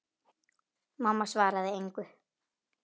Mamma svaraði engu.